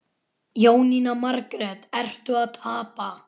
Jóhanna Margrét: Ertu að tapa?